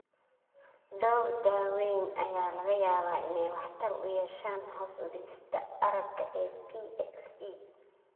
Dhowr daawayn ayaa laga yaabaa inay waxtar u yeeshaan hoos u dhigista aragga ee PXE.